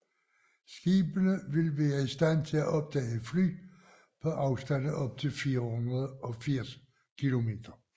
Skibene vil være i stand til at opdage fly på afstande op til 480 kilometer